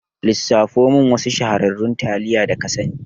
lissafo min wasu shahararrun taliya da ka sani.